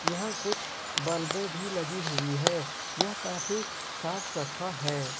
यहां कुछ बल्बे भी लगी हुई है यह काफी साफ सफा है।